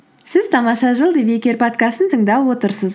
сіз тамаша жыл подкастын тыңдап отырсыз